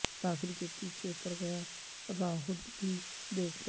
Raffle کے پیچھے پڑ گیا راہول بھی دیکھ لو